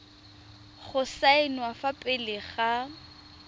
go saenwa fa pele ga